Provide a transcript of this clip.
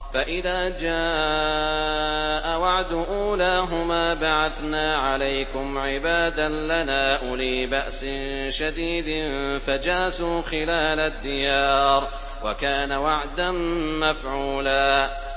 فَإِذَا جَاءَ وَعْدُ أُولَاهُمَا بَعَثْنَا عَلَيْكُمْ عِبَادًا لَّنَا أُولِي بَأْسٍ شَدِيدٍ فَجَاسُوا خِلَالَ الدِّيَارِ ۚ وَكَانَ وَعْدًا مَّفْعُولًا